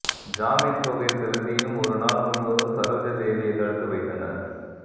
ஜாமின் தொகை செலுத்தியும் ஒரு நாள் முழுவதும் சரோஜா தேவியை தடுத்து வைத்தனர்